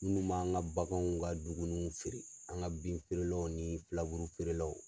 Munnu b'an ka baganw ka dumunuw feere an ka bin feerelaw ni filaburu feerelaw